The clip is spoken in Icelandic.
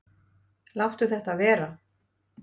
Láttu þetta vera!